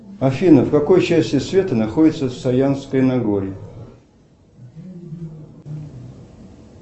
афина в какой части света находится саянское нагорье